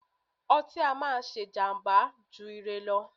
ọtí á máà ṣé jàmbá jù ire lọ.